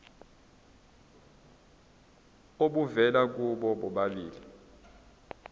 obuvela kubo bobabili